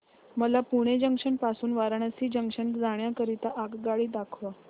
मला पुणे जंक्शन पासून वाराणसी जंक्शन जाण्या करीता आगगाडी दाखवा